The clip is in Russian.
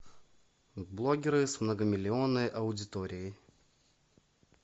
блогеры с многомиллионной аудиторией